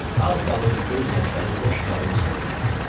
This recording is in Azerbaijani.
Az qalırdı göz yaşları boş qabın içinə tökülsün.